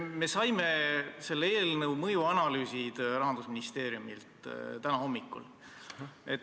Me saime selle eelnõu mõjuanalüüsid Rahandusministeeriumilt täna hommikul.